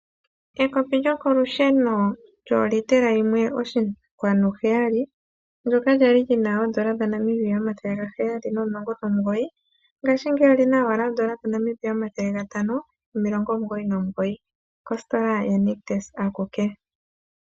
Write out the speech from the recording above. Ekopi lokolusheno lyolitela yimwe oshinkwanu heyali, ndyoka lya li li na oondola dhaNamibia omathele gaheyali nomulongo nomugoyi ngashingeyi oli na owala oondola dhaNamibia omathele gatano nomilongo omugoyi nomugoyi. Okositola yaNictus akuke.